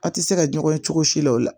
A tɛ se ka ɲɔgɔn ye cogo si la o la